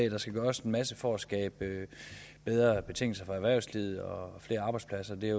at der skal gøres en masse for at skabe bedre betingelser for erhvervslivet og flere arbejdspladser det er